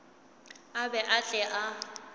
a be a tle a